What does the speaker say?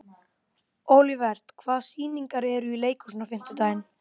Olivert, hvaða sýningar eru í leikhúsinu á fimmtudaginn?